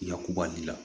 Yakuba de la